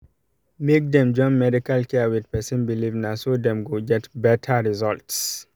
make dem join medical care with person beleive naso dem go get better results